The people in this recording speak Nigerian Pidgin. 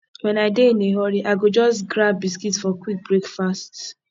when i dey in a hurry i go just grab biscuit for quick breakfast